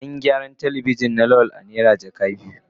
An gyaran Telebijin na Lawal a naira jaka biyu.